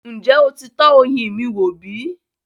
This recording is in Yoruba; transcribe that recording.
Ǹjẹ́ o ti tọ ọyin mì wò bí?